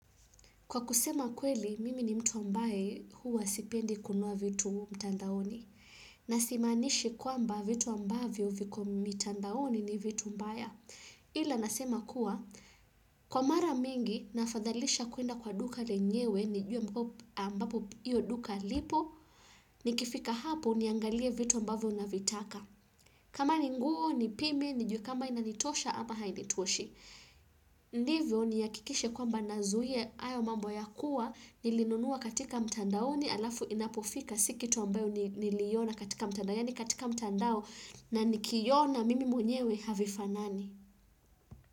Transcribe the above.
Kwa kusema kweli, mimi ni mtu ambaye huwa sipendi kununua vitu mtandaoni. Na simanishi kwamba vitu ambavyo viku mtandaoni ni vitu mbaya. Ila nasema kuwa, kwa mara mingi nafadhalisha kuenda kwa duka lenyewe ni jue ambapo iyo duka lipo, nikifika hapo niangalie vitu ambavyo na vitaka. Kama ni nguo ni pime, nijue kama inanitosha ama hainitoshi. Ndivyo nihakikishe kwamba nazuia hayo mambo ya kuwa nilinunua katika mtandaoni alafu inapufika siikitu ambayo niliiona katika mtandao Yani katika mtandao na nikiona mimi mwenyewe havifanani.